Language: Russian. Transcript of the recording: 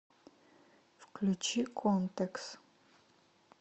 включи контекс